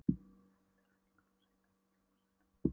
Ég þekki tilfinninguna, segir Garðar og brosir snöggt.